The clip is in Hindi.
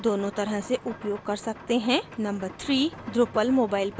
number 3: drupal मोबाइल पर भी कार्य कार्य करता है